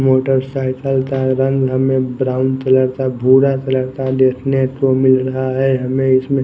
motorcycle रंग हमें brown colour का भूरा कलर का देखने को मिल रहा है हमे इसमें--